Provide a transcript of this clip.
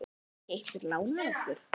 Gæti ekki einhver lánað okkur?